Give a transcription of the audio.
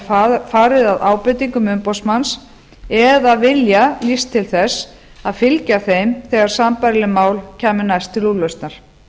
verið farið að ábendingum umboðsmanns eða vilja lýst til þess að fylgja þeim þegar sambærileg mál kæmu næst til úrlausnar